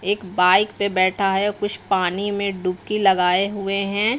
एक बाइक पे बैठा है कुछ पानी में डुबकी लगाए हुए हैं।